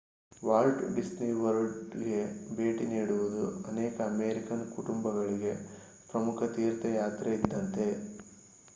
Walt Disney ವರ್ಲ್ಡ್‌ಗೆ ಭೇಟಿ ನೀಡುವುದು ಅನೇಕ ಅಮೇರಿಕನ್ ಕುಟುಂಬಗಳಿಗೆ ಪ್ರಮುಖ ತೀರ್ಥಯಾತ್ರೆ ಇದ್ದಂತೆ